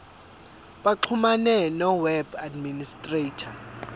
baxhumane noweb administrator